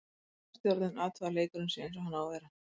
Gæðastjórnun, athugað að leikurinn sé eins og hann á að vera.